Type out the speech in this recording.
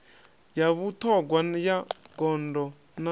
ya vhuṱhogwa ya gondo na